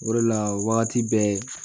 O de la wagati bɛɛ